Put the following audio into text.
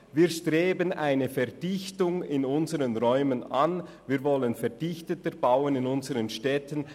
Wir streben eine Verdichtung in unseren Räumen an und wollen in unseren Städten verdichteter bauen.